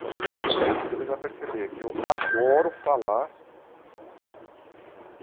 Talvez vocês até durante a entrevista vão perceber que eu adoro falar.